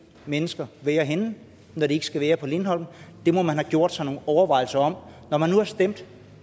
mennesker være henne når de ikke skal være på lindholm det må man have gjort sig nogle overvejelser om når man nu har stemt